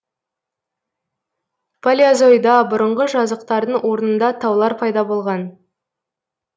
палеозойда бұрынғы жазықтардың орнында таулар пайда болған